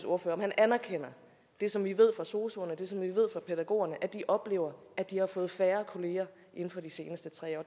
ordfører om han anerkender det som vi ved fra sosuerne og det som vi ved fra pædagogerne nemlig at de oplever at de har fået færre kolleger inden for de seneste tre år